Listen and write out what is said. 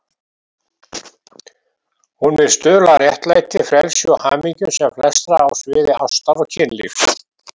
Hún vill stuðla að réttlæti, frelsi og hamingju sem flestra á sviði ástar og kynlífs.